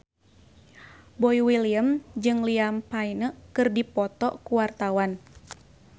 Boy William jeung Liam Payne keur dipoto ku wartawan